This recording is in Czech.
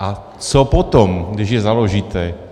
A co potom, když ji založíte?